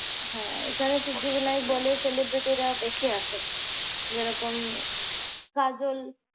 হ্যাঁ এখানে শিল্পীদের নায়ক বলে celebrity রা বেশি আসে। যেরকম কাজল